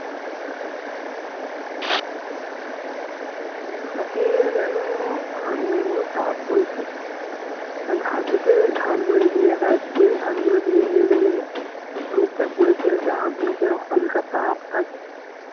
এখন রাতে যেন আগুনের মতো তাপ বইছে ঘাসেতে ঘাসগুলো নীচেতে দেখা যাচ্ছে ঘাসগুলো দিয়ে লেবেলে রোদ টা পড়েছে হচ্ছে আগুনের যে হালকা তাপ থাকে